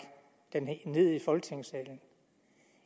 det ned i folketingssalen